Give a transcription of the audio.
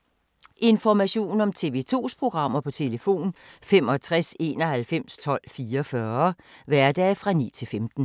Information om TV 2's programmer: 65 91 12 44, hverdage 9-15.